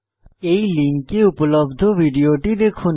এই লিঙ্কে উপলব্ধ ভিডিওটি দেখুন